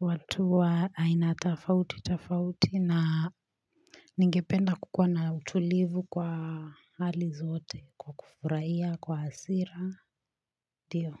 watu wa aina tafauti tafauti na Ningependa kukuwa na utulivu kwa hali zote kwa kufurahiya, kwa hasira, ndiyo.